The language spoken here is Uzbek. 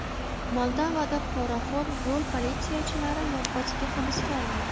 Moldovada poraxo‘r yo‘l politsiyachilari yoppasiga hibsga olindi.